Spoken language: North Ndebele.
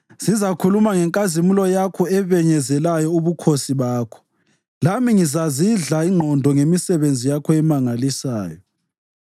Sizakhuluma ngenkazimulo yakho ebenyezelayo ubukhosi bakho, lami ngizazidla ingqondo ngemisebenzi yakho emangalisayo.